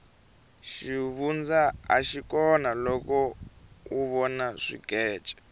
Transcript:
xivundza axi kona loko u vona swikece